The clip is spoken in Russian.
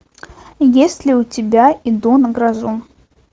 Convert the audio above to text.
есть ли у тебя иду на грозу